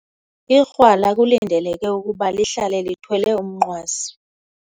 Ikrwala kulindeleke ukuba lihlale lithwele umnqwazi.